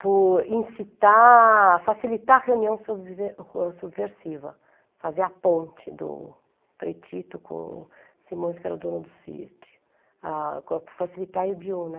por incitar, facilitar a reunião subve, subversiva, fazer a ponte do Frei Tito com Simões, que era o dono do sítio, ah, por facilitar a Ibiúna.